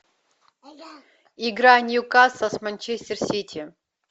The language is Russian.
игра ньюкасл с манчестер сити